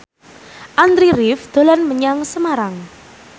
Andy rif dolan menyang Semarang